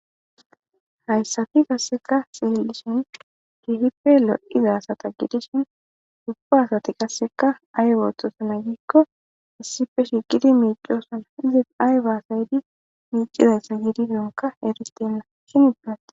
Hayssati qasseka sililishin kifipe lo7iza asata gidishin ubba asati qasseka ay wootosana giikko issife shiqidi miicoosana izis ay baasaydi miicizassa giidisonka eritenna shin ipinate.